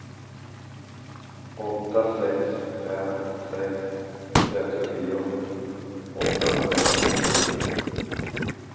åtta sex fem sex trettionio åttahundrafemtiosju